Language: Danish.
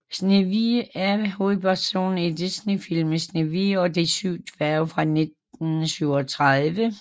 Snehvide er hovedpersonen i Disneyfilmen Snehvide og de syv dværge fra 1937